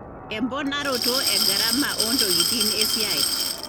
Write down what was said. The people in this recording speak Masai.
emponaroto egarama ontokitin esiai.